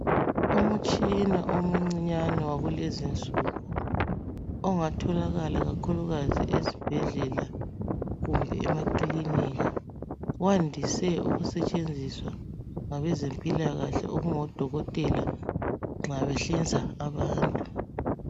Umutshina omuncinyane wakulezi insuku ongatholakala kakhulukazi esibhedlela kumbe emakilinika, wandise ukusetshenziswa ngabezempilakahle okungoDokotela nxa behlinza abantu.